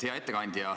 Hea ettekandja!